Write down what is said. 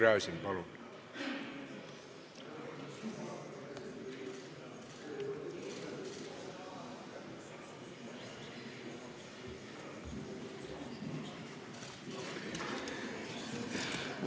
Igor Gräzin, palun!